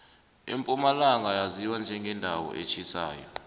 impumalanga yaziwa njengendawo etjhisako